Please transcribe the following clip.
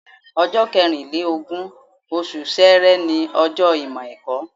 Ọjọ́ kẹrìn lé lógún, oṣù Ṣẹẹrẹ ni ọjọ́ Ìmọ̀-ẹ̀kọ́.